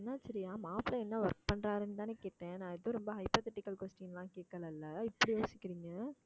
என்னாச்சு ரியா மாப்பிளை என்ன work பண்றாருன்னுதான கேட்டேன் நான் ஏதோ ரொம்ப hypothetical question லாம் கேக்கலைல்ல இப்படி யோசிக்கிறீங்க